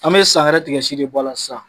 An be san wɛrɛ tigɛsi de bɔ a la sisan.